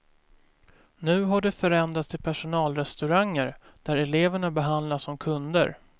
Nu har de förändrats till personalrestauranger där eleverna behandlas som kunder.